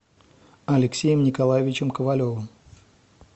алексеем николаевичем ковалевым